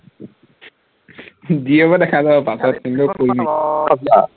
যি হব দেখা যাব পাছত কিন্তু কৰিম